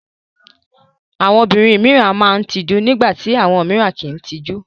Àwọn obìnrin mìíràn máa ń tijú nígbà tí àwọn mìíràn kì í tijú.